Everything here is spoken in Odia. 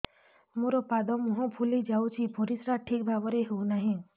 ମୋର ପାଦ ମୁହଁ ଫୁଲି ଯାଉଛି ପରିସ୍ରା ଠିକ୍ ଭାବରେ ହେଉନାହିଁ